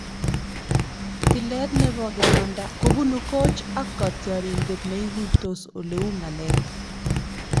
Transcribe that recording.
"Tileet nebo kemanda kobunu coach ak kotiorindet neiguitos oleu ng'alek .